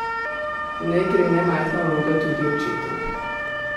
V njej gre nemajhna vloga tudi očetu.